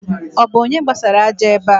Ọ bu onye gbasara aja ebe a?